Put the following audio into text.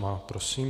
Má. Prosím.